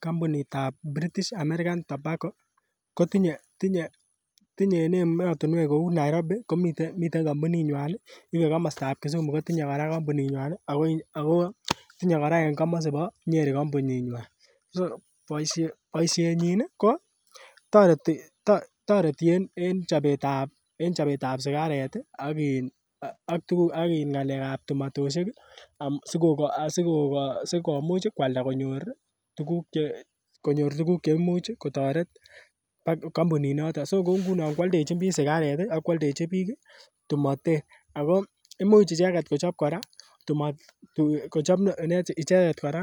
Kampunit ab British American Tobacco kotinye tinye tinye en emotinwek kou Nairobi komiten miten kampunit nywan ih en komostab Kisumu komiten kora kampunit nywan ih ako tinye kora en komosibo Nyeri Kampunit nywan so boisiet nyin ko toreti toreti en en chobetab sigaret ih ak in ak ng'alek ab tumatosiek ih sikomuch ih koalda konyor tuguk cheimuch kotoret kampunit noton so ko ngunon koaldechin biik sigaret ih ak koaldechin biik tumotet ako imuch icheket kochop kora kochop icheket kora